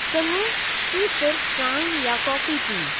चङो, तूं सिर्फ चांहि या काफी पीअ।